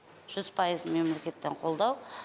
жүз пайыз мемлекеттен қолдау